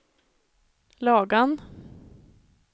Lagan